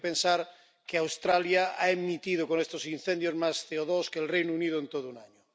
Hay que pensar que Australia ha emitido con estos incendios más CO2 que el Reino Unido en todo un año.